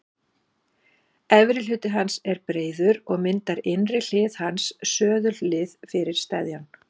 Efri hluti hans er breiður og myndar innri hlið hans söðullið fyrir steðjann.